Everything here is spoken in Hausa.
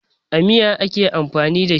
A miya ake amfani da shi.